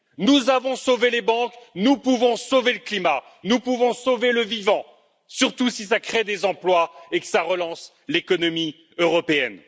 Nous avons sauvé les banques, nous pouvons sauver le climat, nous pouvons sauver le vivant, surtout si cela crée des emplois et relance l'économie européenne.